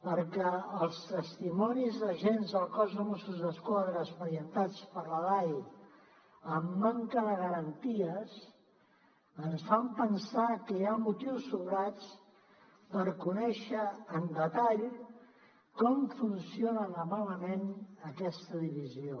perquè els testimonis d’agents del cos de mossos d’esquadra expedientats per la dai amb manca de garanties ens fan pensar que hi ha motius sobrats per conèixer amb detall com funciona de malament aquesta divisió